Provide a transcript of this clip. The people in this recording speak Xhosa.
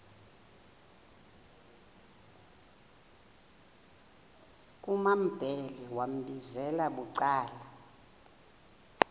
kumambhele wambizela bucala